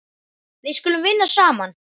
Við skulum vinna saman.